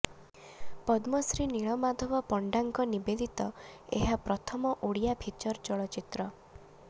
ପଦ୍ମଶ୍ରୀ ନୀଳମାଧବ ପଣ୍ଡାଙ୍କ ନିବେଦିତ ଏହା ପ୍ରଥମ ଓଡ଼ିଆ ଫିଚର ଚଳଚ୍ଚିତ୍ର